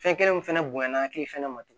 Fɛn kelen min fɛnɛ bonyana hakili fɛnɛ ma